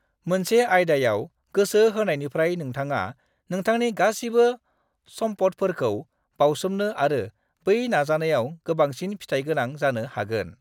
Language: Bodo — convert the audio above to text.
मोनसे आयदायाव गोसो होनायनिफ्राय नोंथाङा नोंथांनि गासिबो सम्फदफोरखौ बावसोमनो आरो बै नाजानायाव गोबांसिन फिथाइगोनां जानो हागोन।